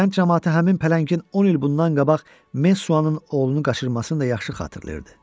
Kənd camaatı həmin pələngin 10 il bundan qabaq Mesuanın oğlunu qaçırmasını da yaxşı xatırlayırdı.